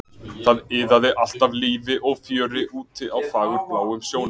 Það iðaði allt af lífi og fjöri úti á fagurbláum sjónum.